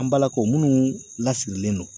An balakaw munnu lasirilen no